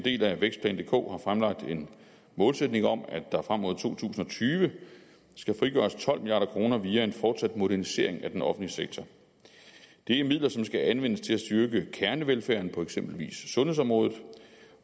del af vækstplan dk har fremlagt en målsætning om at der frem mod to tusind og tyve skal frigøres tolv milliard kroner via en fortsat modernisering af den offentlige sektor det er midler som skal anvendes til at styrke kernevelfærden på eksempelvis sundhedsområdet